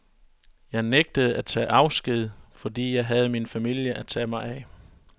Jeg nægtede at tage afsted, fordi jeg havde min familie at tage mig af.